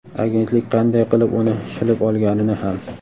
agentlik qanday qilib uni shilib olganini ham.